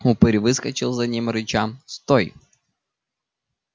упырь выскочил за ним рыча стой